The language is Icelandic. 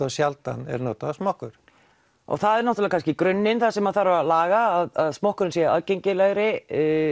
sjaldan er notaður smokkur og það er kannski í grunninn sem þarf að laga að smokkurinn sé aðgengilegri